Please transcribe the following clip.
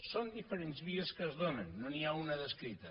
són diferents vies que es donen no n’hi ha una d’escrita